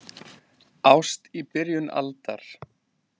Ást í byrjun aldar